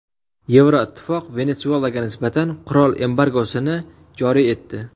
Yevroittifoq Venesuelaga nisbatan qurol embargosini joriy etdi.